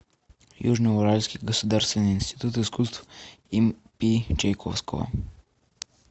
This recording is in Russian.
южно уральский государственный институт искусств им пи чайковского